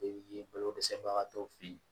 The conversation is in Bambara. ye balo dɛsɛbagatɔw fɛ ye